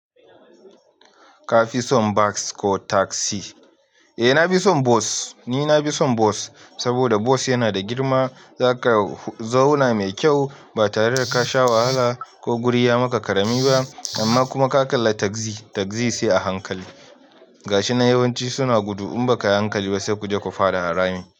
Ka fi son bas ko tagzi? Eh na fi son bus. Ni na fi son bus saboda bus yana da girma, za ka zauna mai kyau ba tare da ka sha wahala ko guri ya maka karami ba amma kuma ka kalla tagzi, tagzi sai a hankali. Gashi na yawanci suna gudu in ba ka yi hankali ba sai kuje ku fada harami.